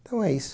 Então é isso.